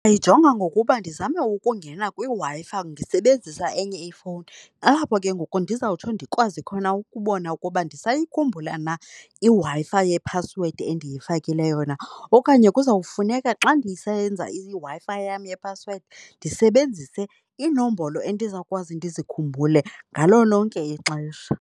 Ndiyijonga ngokuba ndizame ukungena kwiWi-Fi ndisebanzisa enye ifowuni, aho ke ngoku ndizokwazi ukubona ukuba ndisayikhumbula na iWi-Fi yephasiwedi endiyifakileyo na. Okanye kuzawufuneka xa ndisenza iWi-Fi yam yephasiwedi ndisebenzise iinombolo endizakwazi ndizikhumbule ngalo lonke ixesha.